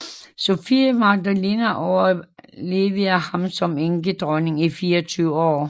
Sophie Magdalene overlevede ham som enkedronning i 24 år